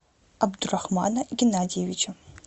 абдурахмана геннадьевича